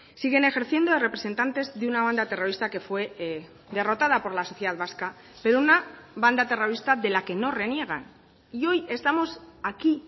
siguen ejerciendo de representantes de una banda terrorista que fue derrotada por la sociedad vasca pero una banda terrorista de la que no reniegan y hoy estamos aquí